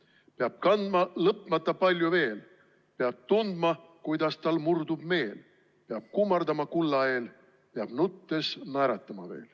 / Peab kandma lõpmata palju veel, / peab tundma, kuidas tal murdub meel, / peab kummardama kulla eel –/ peab nuttes naeratama veel.